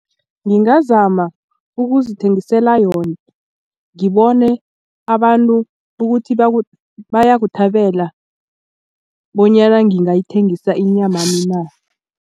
Ngingazama ukuzithengisela yona ngibone abantu ukuthi bayakuthabela bonyana ngingayithengisa inyamami na.